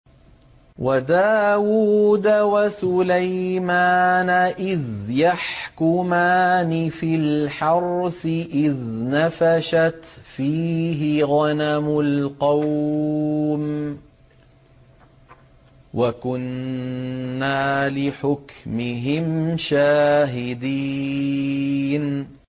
وَدَاوُودَ وَسُلَيْمَانَ إِذْ يَحْكُمَانِ فِي الْحَرْثِ إِذْ نَفَشَتْ فِيهِ غَنَمُ الْقَوْمِ وَكُنَّا لِحُكْمِهِمْ شَاهِدِينَ